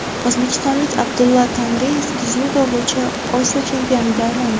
O‘zbekistonlik Abdullo Tangriyev dzyudo bo‘yicha Osiyo chempioniga aylandi.